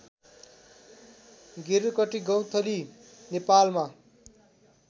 गेरुकटि गौंथली नेपालमा